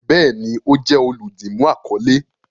Bẹẹni, o jẹ oludimu akọle